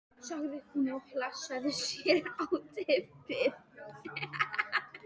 sagði hún og hlassaði sér svo á teppið.